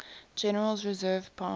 general's reserve powers